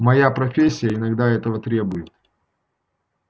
моя профессия иногда этого требует